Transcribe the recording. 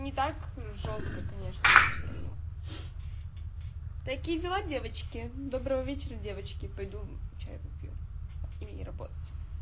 ни так жёстко конечно но все равно такие дела девочки добрый вечер девочки пойду чай попью и работать